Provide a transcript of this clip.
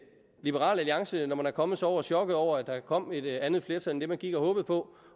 liberal alliance når man er kommet sig over chokket over at der kom et andet flertal end det man gik og håbede på